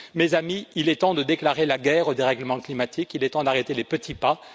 Mes amis, il est temps de déclarer la guerre au dérèglement climatique, il est temps d'arrêter les petits pas.